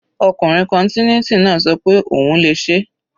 Ọkùnrin continuity náà ṣọ pé òun le ṣeé.